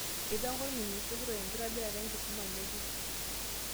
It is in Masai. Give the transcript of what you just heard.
Eipanga orministai kitok ekitobirata enkisima ng'ejuk